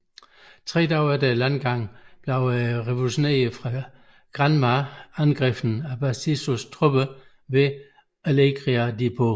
Tre dage efter landgangen blev de revolutionære fra Granma angrebet af Batistas tropper ved Alegria de Pio